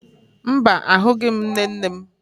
Mba, ahụghị m nne nne m